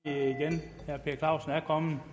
gang per clausen er kommet